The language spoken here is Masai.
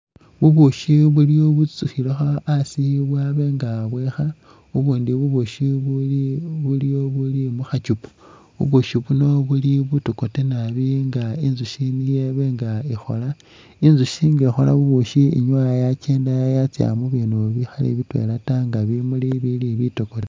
Bubushi biliwo bitsutsukhilekho hasi bwabenga bwikha bubundi bubushi buliwo buli mukhakuupa bushi buno bui butokote naabi ing inzushi niye ibenga ikhola, inzushi inga ikhola bubushi inyuwa yakyenda yatsa mubindu bikhali bitwela ta nga bimuli bili bitokote.